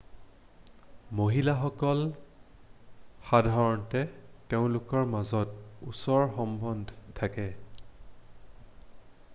মহিলাসকল সাধাৰণতে তেওঁলোকৰ মাজত ওচৰ সম্বন্ধ থাকে